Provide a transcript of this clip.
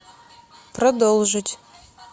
продолжить